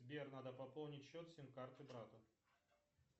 сбер надо пополнить счет сим карты брата